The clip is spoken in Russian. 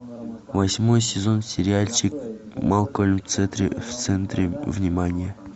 восьмой сезон сериальчик малкольм в центре внимания